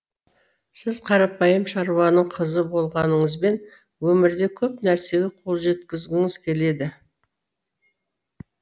сіз қарапайым шаруаның қызы болғаныңызбен өмірде көп нәрсеге қол жеткізгіңіз келеді